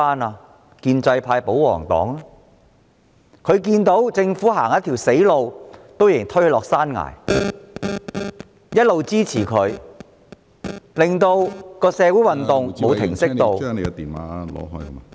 是建制派和保皇黨，因為他們看見政府走上一條死路，卻仍推波助瀾，一直給予支持，令社會運動無法停息......